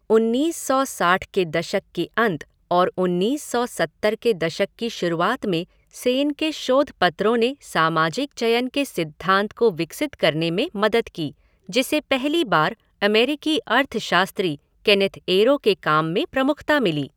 उन्नीस सौ साठ के दशक के अंत और उन्नीस सौ सत्तर के दशक की शुरुआत में सेन के शोधपत्रों ने सामाजिक चयन के सिद्धांत को विकसित करने में मदद की, जिसे पहली बार अमेरिकी अर्थशास्त्री केनेथ एरो के काम में प्रमुखता मिली।